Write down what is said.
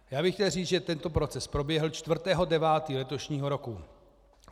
Já bych chtěl říct, že tento proces proběhl 4. 9. letošního roku.